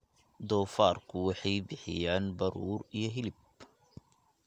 Doofaarku waxay bixiyaan baruur iyo hilib.